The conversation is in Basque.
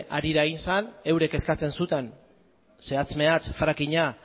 harira egin zen eurek eskatzen zuten zehatz mehatz frakinga